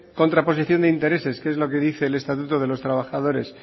contraposición de intereses que es lo que dice el estatuto de los trabajadores